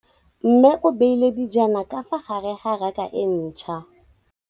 Mmê o beile dijana ka fa gare ga raka e ntšha.